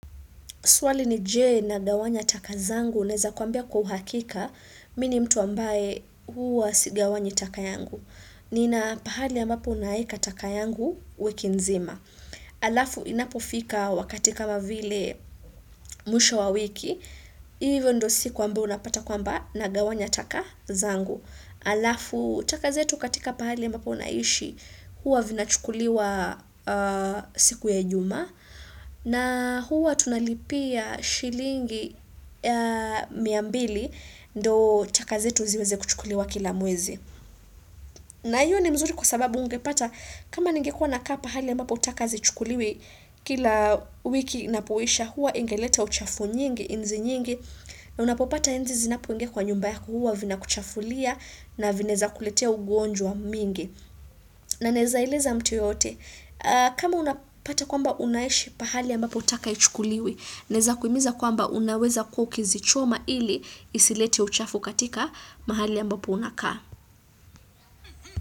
Swali ni je nagawanya takazangu, neza kuambia kwa uhakika, mini mtu ambaye huwa sigawanyi takayangu. Nina pahali ambapo unaika takayangu, wikinzima. Alafu inapofika wakati kama vile mwisho wa wiki, iyo ndio siku ambao unapata kwamba na gawanya takazangu. Alafu, takazetu katika pahali ambapo naishi, huwa vina chukuliwa siku ya ijumaa. Na huwa tunalipia shilingi miambili ndo takazetu ziweze kuchukuliwa kila mwezi. Na hiyo ni mzuri kwa sababu ungepata kama ningekua nakaapa hali ya mbapo takazi chukuliwi kila wiki napowisha huwa ingeleta uchafu nyingi, inzi nyingi na unapopata inzi zinapo ingia kwa nyumbayaku huwa vina kuchafulia na vineza kuletea ugonjwa mingi. Na nezaileza mtu yote. Kama unapata kwamba unaeshi pahali ambapo taka ichukuliwi Neza kuimiza kwamba unaweza kukizi choma ili isilete uchafu katika mahali ya mbapo unakaa.